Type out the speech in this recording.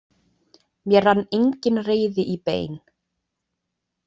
Mér rann engin reiði í bein.